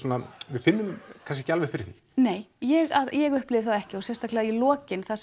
við finnum kannski ekki alveg fyrir því nei ég ég upplifði það ekki og sérstaklega í lokin þar